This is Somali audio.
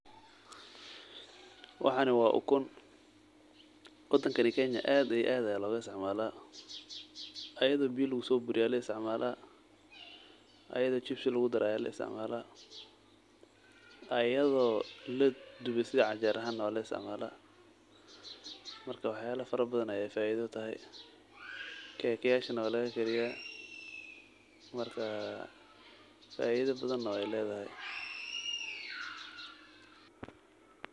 Waxani wa ukun, wadankani kenya aad aya logaisticmala iyado laakariye walaisticmsla, jibsi aya luguisticmala, wana laduba sida canjero aha marka wax yalo fara badan ayey faido utahay kega waluguisticmala marka faido badan wey ledaha.